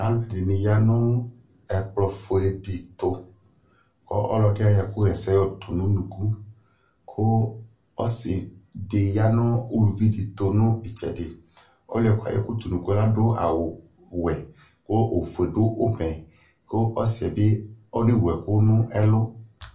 Alʋɛdɩnɩ ya nʋ ɛkplɔfue dɩ tʋ Kʋ ɔlɔdɩ ayɔ ɛkʋɣaɛsɛ tʋ nʋ unuku Kʋ ɔsɩ dɩ ya nʋ uluvi dɩ ɛtʋ nʋ ɩtsɛdɩ Ɔlʋ yɛ kʋ ayɔ ɛkʋ tʋ nʋ unuku yɛ adʋwɛ kʋ ofue dʋ ʋmɛ kʋ ɔsɩ yɛ bɩ ɔnewu ɛkʋ nʋ ɛlʋ